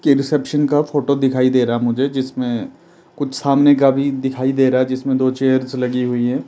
के रिसेप्शन का फोटो दिखाई दे रहा मुझे जिसमें कुछ सामने का भी दिखाई दे रहा है जिसमें दो चेयर्स लगी हुई है।